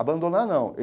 Abandonar, não.